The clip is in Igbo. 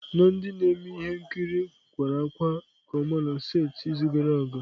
Na ndị na-eme ihe nkiri kwara ákwá nke ọma na setịpụ izu gara aga.